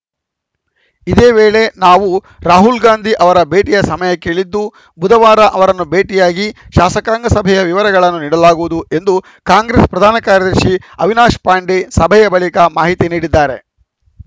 ಇದೇ ವೇಳೆ ನಾವು ರಾಹುಲ್‌ ಗಾಂಧಿ ಅವರ ಭೇಟಿಗೆ ಸಮಯ ಕೇಳಿದ್ದು ಬುಧವಾರ ಅವರನ್ನು ಭೇಟಿಯಾಗಿ ಶಾಸಕಾಂಗ ಸಭೆಯ ವಿವರಗಳನ್ನು ನೀಡಲಾಗುವುದು ಎಂದು ಕಾಂಗ್ರೆಸ್‌ ಪ್ರಧಾನ ಕಾರ್ಯದರ್ಶಿ ಅವಿನಾಶ್‌ ಪಾಂಡೆ ಸಭೆಯ ಬಳಿಕ ಮಾಹಿತಿ ನೀಡಿದ್ದಾರೆ